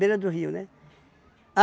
Beira do rio, né?